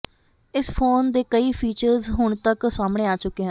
ਇਸ ਫੋਨ ਦੇ ਕਈ ਫੀਚਰਸ ਹੁਣ ਤਕ ਸਾਹਮਣੇ ਆ ਚੁੱਕੇ ਹਨ